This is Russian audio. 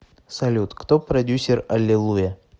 салют кто продюссер алилуйя